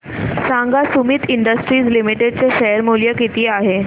सांगा Sumeet industries limited चे share मूल्य किती आहे